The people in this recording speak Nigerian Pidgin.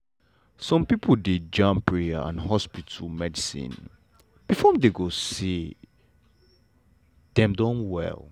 some pipo dey jam prayer and hospital medicine before dem go say dem don well.